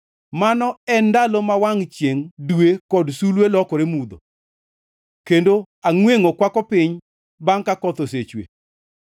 Mano en ndalo ma wangʼ chiengʼ, dwe kod sulwe lokore mudho, kendo angʼwengʼo kwako piny bangʼ ka koth osechwe.